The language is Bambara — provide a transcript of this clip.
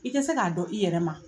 I te se k'a dɔn i yɛrɛ ma